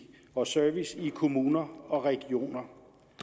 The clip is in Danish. og service i kommuner og regioner